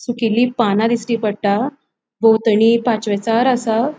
सुकैली पाना दिसटी पट्टा भोवतणि पाचवेचार आसा.